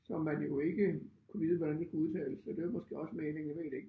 Som man jo ikke kunne vide hvordan de skulle udtales og det var måske også meningen jeg ved det ikke